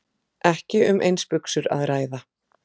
Ekki um eins buxur að ræða